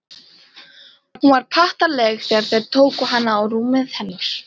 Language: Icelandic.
Hún var pattaraleg þegar þeir tóku hana og rúmið hennar.